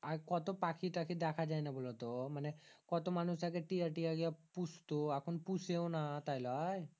আর কতো পাখি টাখি দেখা যায়না বলতো মানে কত মানুষ আগে টিয়া টিয়া গুলা পুষতো এখন পুষেও না তাই লয়